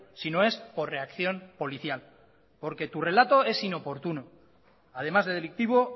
sino es por reacción policial porque tu relato es inoportuno además delictivo